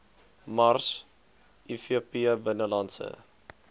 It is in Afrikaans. mars ivp binnelandse